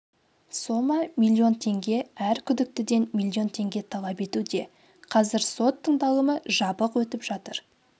сома миллион теңге әр күдіктіден миллион теңге талап етуде қазір сот тыңдалымы жабық өтіп жатыр